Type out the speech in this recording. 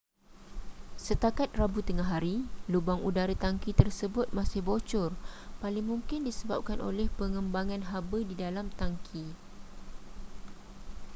setakat rabu tengahari lubang udara tangki tersebut masih bocor paling mungkin disebabkan oleh pengembangan haba di dalam tangki